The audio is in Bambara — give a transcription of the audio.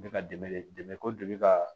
Bɛ ka dɛmɛ de dɛmɛ ko de bɛ ka